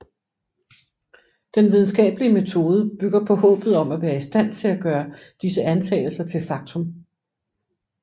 Den videnskabelige metode bygger på håbet om at være i stand til at gøre disse antagelser til faktum